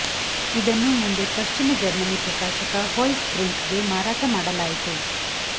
ಇದನ್ನು ಮುಂದೆ ಪಶ್ಚಿಮ ಜರ್ಮನಿ ಪ್ರಕಾಶಕ ಹೊಲ್ಜ್ ಬ್ರಿಂಕ್ ಗೆ ಮಾರಾಟ ಮಾಡಲಾಯಿತು